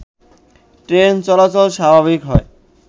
train চলাচল স্বাভাবিক হয়